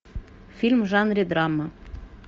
фильм в жанре драма